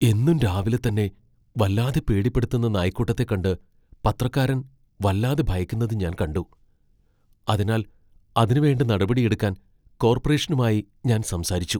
എന്നും രാവിലെ തന്നെ വല്ലാതെ പേടിപ്പെടുത്തുന്ന നായ്ക്കൂട്ടത്തെ കണ്ട് പത്രക്കാരൻ വല്ലാതെ ഭയക്കുന്നത് ഞാൻ കണ്ടു. അതിനാൽ അതിനുവേണ്ട നടപടിയെടുക്കാൻ കോർപ്പറേഷനുമായി ഞാൻ സംസാരിച്ചു.